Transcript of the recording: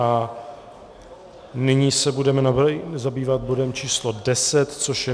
A nyní se budeme zabývat bodem číslo 10, což je